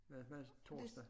Hvad hvad så torsdag